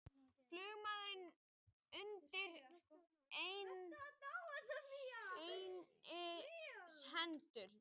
Flugmaður undir læknishendur